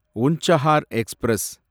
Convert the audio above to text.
Unchahar express